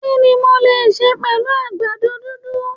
Kini mo lè sẹ̀ pẹ̀lú àgbàdo dúndùn?